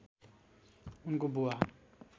उनको बुवा